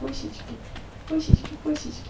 пусички пусички пусички